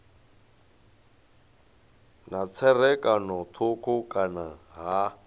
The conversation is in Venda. na tserakano thukhu kana ha